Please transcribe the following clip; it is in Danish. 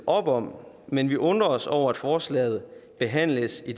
op om men vi undrer os over at forslaget behandles i